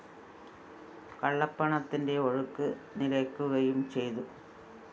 കള്ളപ്പണത്തിന്റെ ഒഴുക്ക് നിലയ്ക്കുകയും ചെയ്തു